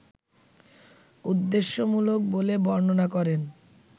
উদ্দেশ্যমূলক বলে বর্ণনা করেন